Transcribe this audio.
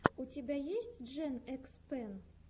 у тебя есть джен экс пен